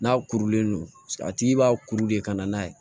N'a kurulen don a tigi b'a kuru de ka na n'a ye